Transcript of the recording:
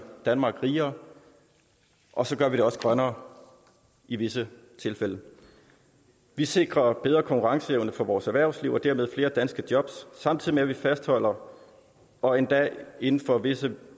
danmark rigere og så gør vi det også grønnere i visse tilfælde vi sikrer bedre konkurrenceevne for vores erhvervsliv og dermed flere danske job samtidig med at vi fastholder og endda inden for visse